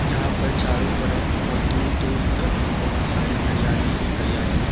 यहां पर चारों तरफ बहुत दूर दूर तक बहुत सारी हरियाली ही हरियाली है।